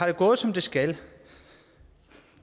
det gået som det skal